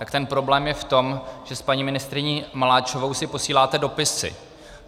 Tak ten problém je v tom, že s paní ministryní Maláčovou si posíláte dopisy.